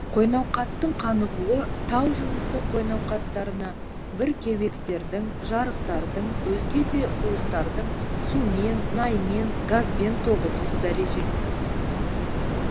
қойнауқаттың қанығуы тау жынысы қойнауқаттарына бір кеуектердің жарықтардың өзге де куыстардың сумен наймен газбен тоғытылу дәрежесі